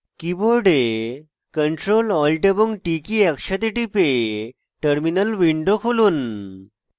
keyboard ctrl alt এবং t কী একসাথে টিপে terminal উইন্ডো খুলুন